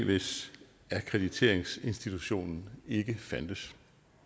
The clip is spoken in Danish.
hvis akkrediteringsinstitutionen ikke fandtes